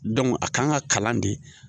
a kan ka kalan de